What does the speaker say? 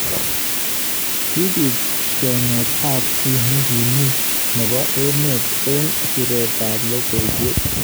Kibit chenget ab ki nekim nebo emet eng siret ab lokoiwek.